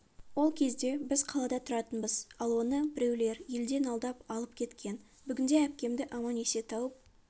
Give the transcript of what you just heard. ол кезде біз қалада тұратынбыз ал оны біреулер елден алдап алып кеткен бүгінде әпкемді аман-есе тауып